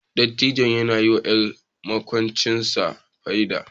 Dattijon ya yiwa 'yar makwabcinsa fyade